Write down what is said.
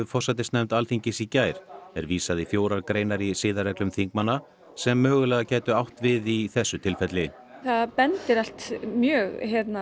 forsætisnefnd Alþingis í gær er vísað í fjórar greinar í siðareglum þingmanna sem mögulega gætu átt við í þessu tilfelli það bendir allt mjög